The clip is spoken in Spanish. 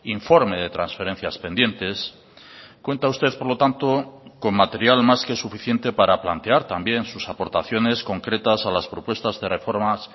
informe de transferencias pendientes cuenta usted por lo tanto con material más que suficiente para plantear también sus aportaciones concretas a las propuestas de reformas